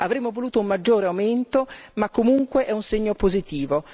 Avremmo voluto un maggiore aumento, ma comunque è un segno positivo.